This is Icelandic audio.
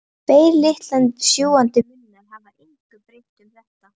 Tveir litlir sjúgandi munnar hafa engu breytt um þetta.